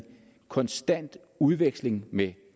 konstant udveksling med